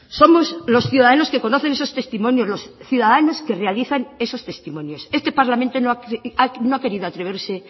somos los ciudadanos que conocen esos testimonios los ciudadanos que realizan esos testimonios este parlamento no ha querido atreverse